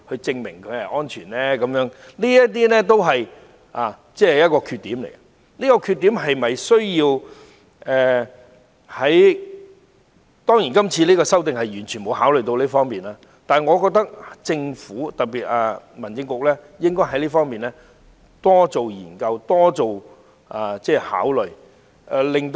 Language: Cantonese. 這些都是《條例草案》的缺點，而這些缺點是否需要......當然，今次提出的修訂完全沒有考慮這方面，但我認為政府——尤其是民政事務局——應該在這方面多作研究和考慮。